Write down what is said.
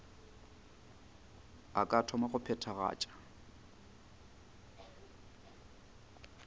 a ka thoma go phethagatša